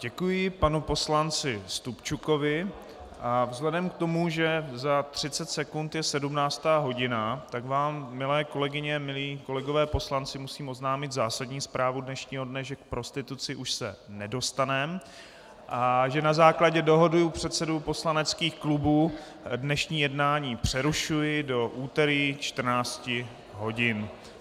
Děkuji panu poslanci Stupčukovi a vzhledem k tomu, že za 30 sekund je 17. hodina, tak vám, milé kolegyně, milí kolegové poslanci, musím oznámit zásadní zprávu dnešního dne, že k prostituci už se nedostaneme a že na základě dohody předsedů poslaneckých klubů dnešní jednání přerušuji do úterý 14 hodin.